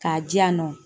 K'a di yan nɔ